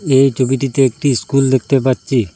এই ছবিটিতে একটি স্কুল দেখতে পাচ্ছি।